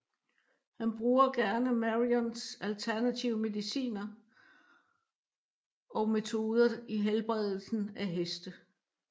Han bruger gerne Marions alternative mediciner og metoder i helbredelsen af heste